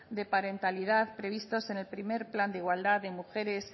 de parentalidad previstos en el primero plan de igualdad de mujeres